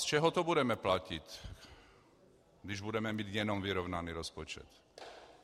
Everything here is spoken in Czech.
Z čeho to budeme platit, když budeme mít jenom vyrovnaný rozpočet?